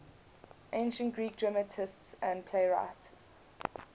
ancient greek dramatists and playwrights